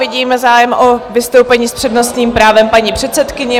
Vidím zájem o vystoupení s přednostním právem paní předsedkyně.